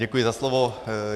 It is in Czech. Děkuji za slovo.